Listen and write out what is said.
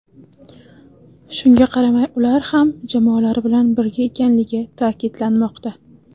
Shunga qaramay ular ham jamoalari bilan birga ekanligi ta’kidlanmoqda.